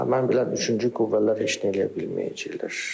mən bilən üçüncü qüvvələr heç nə eləyə bilməyəcəklər.